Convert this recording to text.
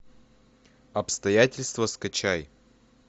обстоятельства скачай